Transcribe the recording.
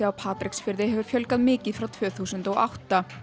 Patreksfirði hefur fjölgað mikið frá tvö þúsund og átta